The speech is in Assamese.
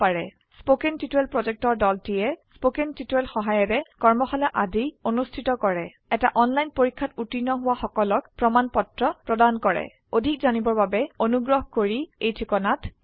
কথন শিক্ষণ প্ৰকল্পৰ দলটিয়ে কথন শিক্ষণ সহায়িকাৰে কৰ্মশালা আদি অনুষ্ঠিত কৰে এটা অনলাইন পৰীক্ষাত উত্তীৰ্ণ হোৱা সকলক প্ৰমাণ পত্ৰ প্ৰদান কৰে অধিক জানিবৰ বাবে অনুগ্ৰহ কৰি contactspoken tutorialorg এই ঠিকনাত লিখক